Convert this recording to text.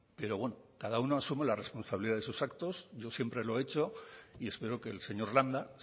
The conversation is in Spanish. pero bueno cada uno asume la responsabilidad de sus actos yo siempre lo he hecho y espero que el señor landa